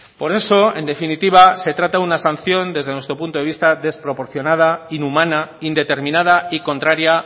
por eso en definitiva se trata de una sanción desde nuestro punto de vista desproporcionada inhumana indeterminada y contraria